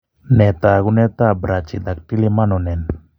Nee taakunetaab Brachydactyly Mononen?